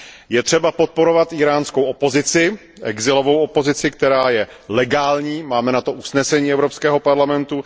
Je třeba podporovat íránskou exilovou opozici, která je legální, máme na to usnesení Evropského parlamentu.